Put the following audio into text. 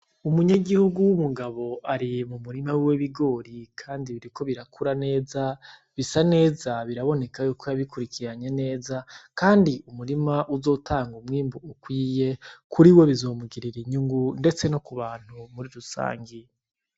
Umunyagihugu w’umugabo ari mu murima w’ibigori kandi biriko birakura neza, bisa neza, biraboneka yuko yabikurikiranye neza, kandi umurima uzotanga umwimbu ukwiye kuri we bizomugirira inyungu ndetse no ku bantu muri rusange.